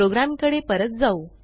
प्रोग्रॅमकडे परत जाऊ